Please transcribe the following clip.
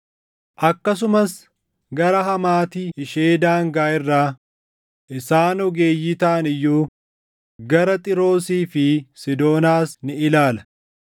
akkasumas gara Hamaati ishee daangaa irraa, isaan ogeeyyii taʼan iyyuu gara Xiiroosii fi Siidoonaas ni ilaala.